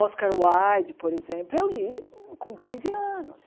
Oscar Wilde, por exemplo, eu li com quinze anos.